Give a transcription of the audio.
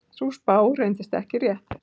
Sú spá reyndist ekki rétt.